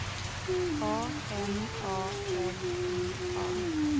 A M A L I A